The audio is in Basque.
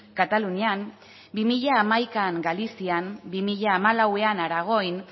katalunian bi mila hamaika galizian bi mila hamalauan aragoin